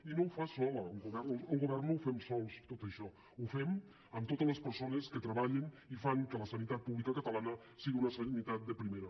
i no ho fa sol el govern al govern no ho fem sols tot això ho fem amb totes les persones que treballen i fan que la sanitat pública catalana sigui una sanitat de primera